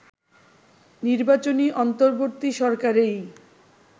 নির্বাচনী অন্তর্বর্তী সরকারেই